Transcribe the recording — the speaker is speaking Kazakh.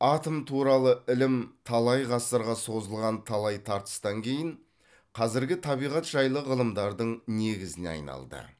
атом туралы ілім талай ғасырға созылған талай тартыстан кейін қазіргі табиғат жайлы ғылымдардың негізіне айналды